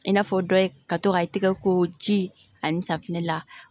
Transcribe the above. I n'a fɔ dɔ ye ka to ka i tɛgɛ ko ji ani safinɛ la